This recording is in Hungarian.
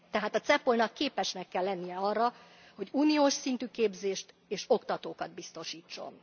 Tehát a CEPOL nak képesnek kell lennie arra, hogy uniós szintű képzést és oktatókat biztosítson.